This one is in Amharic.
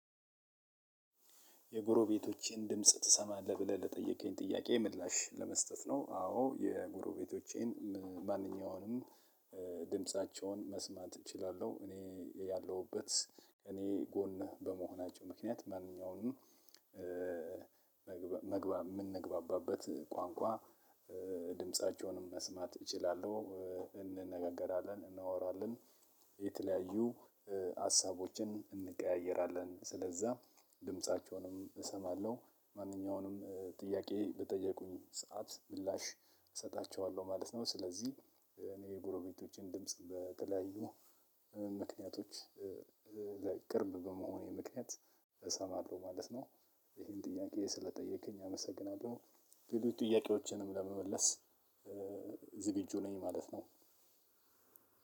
የጎረቤቶቼን ድምጽ ትሰማለህ ብለህ ለጠየቀኝ ጥያቄ ምላሽ ለመስጠት ነው። አዎ ቤቶቼን ማንኛውንም ድምፃቸውን መስማት እችላለሁ። እኔ ያለሁበት እኔ ጎን በመሆናቸው ምክንያት ማንኛውንም መግባም የምንግባባበት ቋንቋ ድምፃቸውንም መስማት እችላለሁ። እንነጋገራለን እናወራለን የተለያዩ ሀሳቦችን እንቀያየራለን ስለዛ ድምፃቸውንም እሰማለሁ። ማንኛውንም ጥያቄ በጠየቁኝ ሰዓት ምላሽ እሰጣቸዋለሁ ማለት ነው። ስለዚህ እኔ የጎረቤቶችን ድምጽ በተለያዩ ምክንያቶች ቅርብ በመሆኔ ምክንያት እሰማለሁ ማለት ነው። ይህን ጥያቄ ስለጠየቅኸኝ አመሰግናለሁ። ክብር ጥያቄዎችንም ለመመለስ ዝግጁ ነኝ ማለት ነው።